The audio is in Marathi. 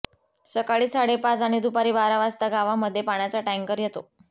सकाळी साडेपाच आणि दुपारी बारा वाजता गावामध्ये पाण्याचा टँकर येतो